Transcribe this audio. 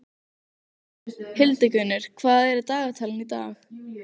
Hildigunnur, hvað er í dagatalinu í dag?